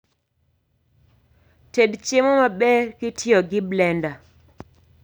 Ted chiemo maber kitiyo gi blenda